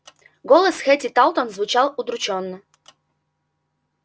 голос хэтти тарлтон звучал удручённо